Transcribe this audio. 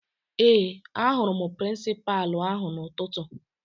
Ee, ahụrụ m prịnsịpalụ ahụ n'ụtụtụ